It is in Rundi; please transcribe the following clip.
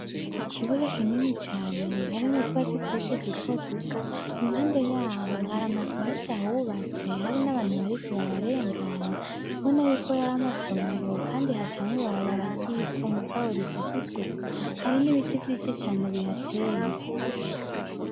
Ikibuga kinini cane harimutwasi twishi duto duto impande yaho hariamaze meshi hawubatse hari n'abantu bariko bararengana tubona yuko yaramasomero, kandi ha camwe barabaragivu mugabo rifise isuku hari n'ibiti vy'isi cane bihateye.